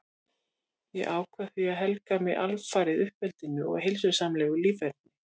Ég ákvað því að helga mig alfarið uppeldinu og heilsusamlegu líferni.